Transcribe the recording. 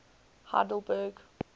heidelberg